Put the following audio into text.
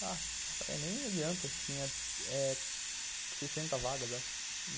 Falei, nem adianta, tinha eh sessenta vagas, acho.